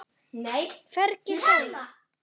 Hvergi sála.